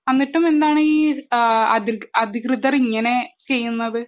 എന്നിട്ടും എന്താണ് അധികൃതർ ഇങ്ങനെ ചെയ്യുന്നത്